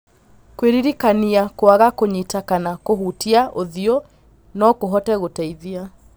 kwĩririkania kwaga kũnyita kana kũhutia ũthiũ nokũhote gũteithia